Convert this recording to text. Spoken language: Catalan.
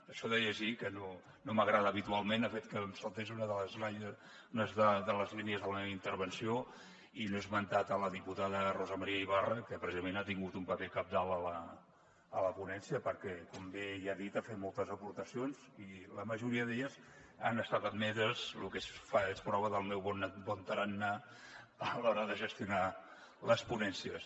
això de llegir que no m’agrada habitualment ha fet que em saltés una de les línies de la meva intervenció i no he esmentat la diputada rosa maria ibarra que precisament ha tingut un paper cabdal a la ponència perquè com bé ella ha dit ha fet moltes aportacions i la majoria d’elles han estat admeses cosa que és prova del meu bon tarannà a l’hora de gestionar les ponències